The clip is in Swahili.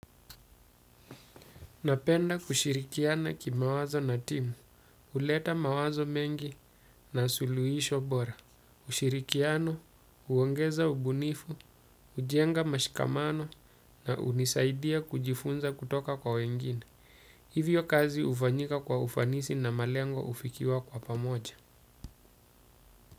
Napenda kushirikiana ki mawazo na timu, uleta mawazo mengi na suluisho bora, ushirikiano, uongeza ubunifu, ujenga mashikamano na unisaidia kujifunza kutoka kwa wengine. Hivyo kazi ufanyika kwa ufanisi na malengo ufikiwa kwa pamoja.